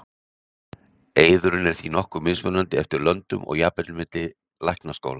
eiðurinn er því nokkuð mismunandi eftir löndum og jafnvel milli læknaskóla